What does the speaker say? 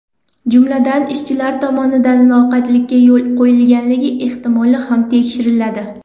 Jumladan, ishchilar tomonidan loqaydlikka yo‘l qo‘yilganligi ehtimoli ham tekshiriladi.